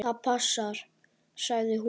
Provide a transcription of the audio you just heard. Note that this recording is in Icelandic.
Það passar, sagði hún.